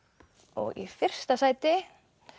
og í fyrsta sæti